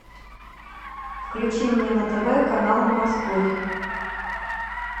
включи мне на тв канал морской